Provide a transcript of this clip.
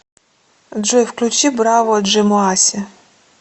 джой включи браво джэмоаси